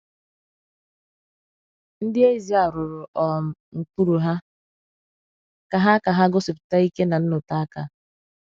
Ndị eze à rụrụ um nkpuru hà ka hà ka hà gosipụta ike na nnọte aka.